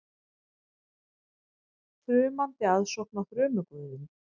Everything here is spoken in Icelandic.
Þrumandi aðsókn á þrumuguðinn